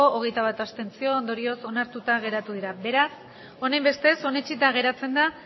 hogeita bat abstentzio ondorioz onartuta geratu dira beraz honenbestez onetsita geratzen da